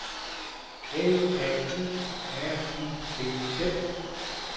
L A U R I T Z